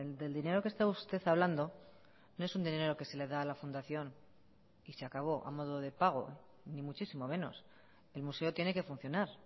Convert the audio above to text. del dinero que está usted hablando no es un dinero que se le da a la fundación y se acabó a modo de pago ni muchísimo menos el museo tiene que funcionar